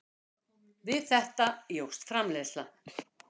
Við þetta jókst framleiðslan.